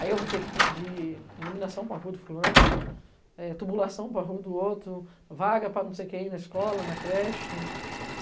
Aí eu vou ter que pedir iluminação para a rua do fulano, eh, tubulação para a rua do outro, vaga para não sei quem na escola, na creche.